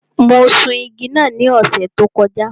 Mo sun igi náà ní ọ̀sẹ̀ tó kọjá.